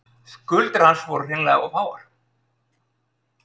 Skuldir hans voru hreinlega of háar.